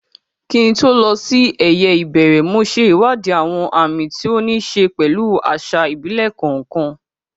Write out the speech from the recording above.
Kí n tó lọ sí eyeìbẹ̀rẹ̀, mo ṣe ìwádìí àwọn àmì tí ó ní í ṣe pẹ̀lú àṣà ìbílẹ̀ kọ̀ọ̀kan.